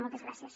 moltes gràcies